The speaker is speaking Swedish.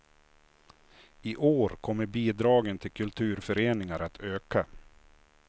I år kommer bidragen till kulturföreningar att öka.